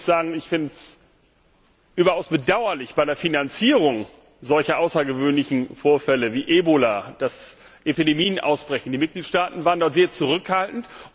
Ich muss sagen, ich finde es überaus bedauerlich Bei der Finanzierung solcher außergewöhnlichen Vorfälle wie Ebola, wenn Epidemien ausbrechen, waren die Mitgliedstaaten sehr zurückhaltend.